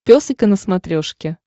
пес и ко на смотрешке